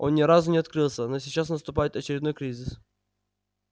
он ни разу не открылся но сейчас наступает очередной кризис